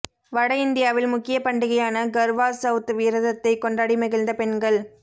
வட இந்தியாவில் முக்கிய பண்டிகையான கர்வா சௌத் விரதத்தை கொண்டாடி மகிழ்ந்த பெண்கள்